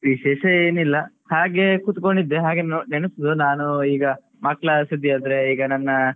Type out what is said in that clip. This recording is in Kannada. ವಿಶೇಷ ಏನಿಲ್ಲ ಹಾಗೆ ಕುತ್ಕೊಂಡಿದ್ದೆ ಹಾಗೆ ನೆನೆಪ್ಸಿದ್ದು ನಾನು ಈಗ ಮಕ್ಕಳ ಸುದ್ದಿ ಆದ್ರೆ ಈಗ ನನ್ನ